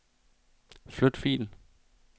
Flyt fil.